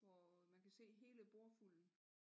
Hvor man kan se hele bordfulden